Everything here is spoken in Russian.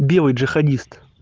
белый джихадист